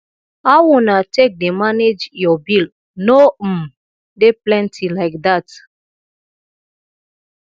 how una take dey manage your bill no um dey plenty like dat